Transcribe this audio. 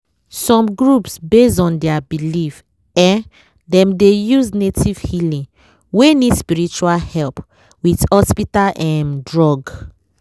some groups based on their belief em dem dey use native healing wey need spiritual help with hospital em drug.